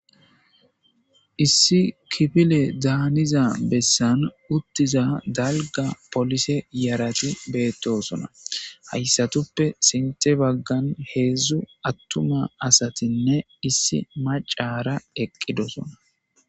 Issi kifile daaniza bessan uttiza dalga polise yarati beettosona hayssatuppe sinte baggan heedzdzu attuma asatinne issi macara eqqidosona.